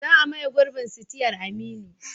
Za a maye gurbin sitiyar Aminu.